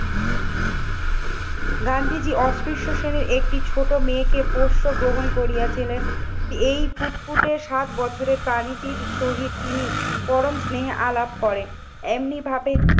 গান্ধীজি অস্পৃশ্য শ্রেণীর একটি ছোট মেয়েকে পোষ্য গ্রহণ করিয়া ছিলেন। এই ফুটফুটে সাত বছরের প্রাণীটির সহিত তিনি পরম স্নেহে আলাপ করেন। এমনি ভাবে